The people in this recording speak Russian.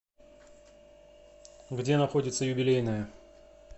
где находится юбилейная